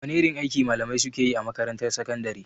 Wane irin aiki malamai suke yi a makarantar sakandare?